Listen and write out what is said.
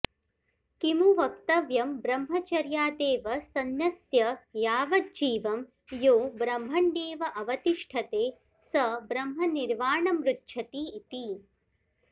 किमु वक्तव्यं ब्रह्मचर्यादेव सन्न्यस्य यावज्जीवं यो ब्रह्मण्येव अवतिष्ठते स ब्रह्मनिर्वाणमृच्छति इति